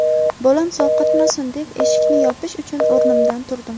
Bolam sovqotmasin deb, eshikni yopish uchun o‘rnimdan turdim.